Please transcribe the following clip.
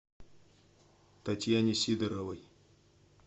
татьяне сидоровой